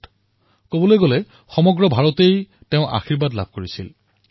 এটা দিশৰ পৰা চাবলৈ গলে সমগ্ৰ ভাৰতবৰ্ষই তেওঁৰ আশীৰ্বাদ লাভ কৰিবলৈ সক্ষম হৈছিল